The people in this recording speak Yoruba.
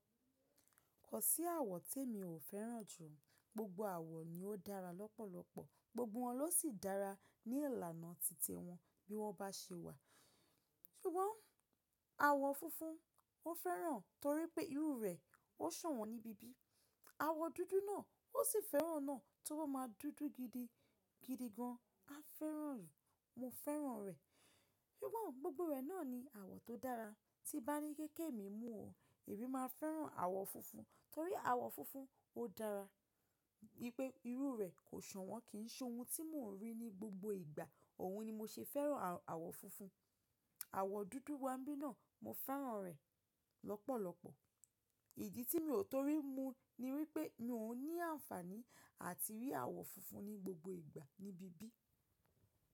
Kò sí àwọ̀ tí emi ò fẹ́ràn jù. Gbogbo àwọ̀ ni ó dára lọ́pọ̀lọpọ̀, gbogbo wọn ló sì dára ní ìlànà titi wọn bí wọ́n bá ṣe wà. Ṣùgbọ́n àwọ̀ funfun mo fẹ́ràn torípẹ́ irú rẹ̀ ó ṣọ̀wọ́n níbi bí. Àwọ̀ dúdú náà ó sì fẹ́ràn náà tí ó bá máa dúdú gidi gidi gan, a fẹ́ràn rẹ̀, mo fẹ́ràn rẹ̀. Ṣùgbọ́n gbogbo rẹ̀ náà ni àwọ̀ tó dára. Tí n bá ní pé kè mi mu o, èmi máa fẹ́ràn àwọ̀ funfun torí àwọ̀ funfun ó dára wípé irú rẹ̀ kò ṣọ̀wọ́n kì ń ṣe ohun tí mò ń rí ní gbogbo ìgbà. Ọ̀hun ni mo ṣe fẹ́ràn àwọ̀ funfun. Àwọ̀ dúdú wá ń bí náà mo fẹ́ràn rẹ̀ lọ́pọ̀lọpọ̀. Ìdí tí mi ò torí mu ni wípé mi ò ní àǹfààní à ti rí àwọ̀ funfun ní gbogbo ìgbà níbi bí.